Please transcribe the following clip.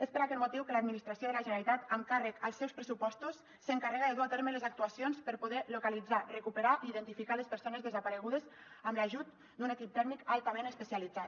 és per aquest motiu que l’administració de la generalitat amb càrrec als seus pressupostos s’encarrega de dur a terme les actuacions per poder localitzar recuperar i identificar les persones desaparegudes amb l’ajut d’un equip tècnic altament especialitzat